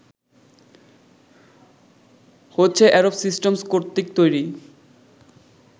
হচ্ছে Adobe Systems কর্তৃক তৈরি